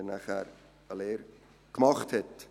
Auch wenn er dann die Lehre gemacht hat.